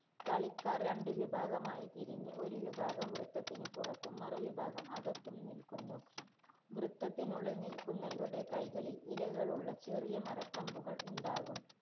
കളിക്കാര്‍ രണ്ട് വിഭാഗമായി തിരിഞ്ഞ് ഒരു വിഭാഗം വൃത്തത്തിന് പുറത്തും, മറുവിഭാഗം അകത്തും നില്ക്കുന്നു. വൃത്തത്തിനുള്ളില്‍ നില്ക്കുന്നവരുടെ കൈകളില്‍ ഇലകളുള്ള ചെറിയ മരക്കമ്പുകള്‍ ഉണ്ടാകും.